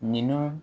Ninnu